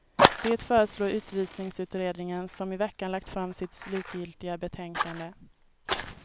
Det föreslår utvisningsutredningen, som i veckan lagt fram sitt slutgiltiga betänkande.